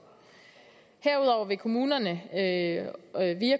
herudover vil kommunerne via